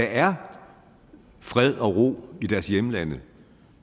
er fred og ro i deres hjemlande